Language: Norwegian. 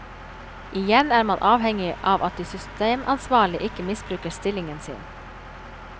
Igjen er man avhengig av at de systemansvarlige ikke misbruker stillingen sin.